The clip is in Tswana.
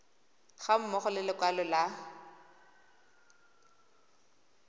ga mmogo le lekwalo la